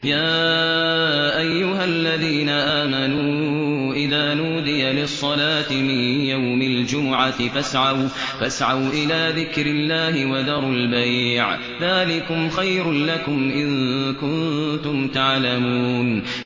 يَا أَيُّهَا الَّذِينَ آمَنُوا إِذَا نُودِيَ لِلصَّلَاةِ مِن يَوْمِ الْجُمُعَةِ فَاسْعَوْا إِلَىٰ ذِكْرِ اللَّهِ وَذَرُوا الْبَيْعَ ۚ ذَٰلِكُمْ خَيْرٌ لَّكُمْ إِن كُنتُمْ تَعْلَمُونَ